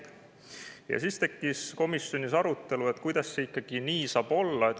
Selle peale tekkis komisjonis arutelu, et kuidas see saab ikka nii olla.